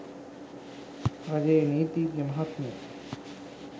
රජයේ නීතිඥමහත්මිය